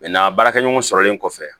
baarakɛɲɔgɔn sɔrɔlen kɔfɛ